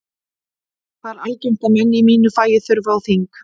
Það er algengt að menn í mínu fagi þurfi á þing.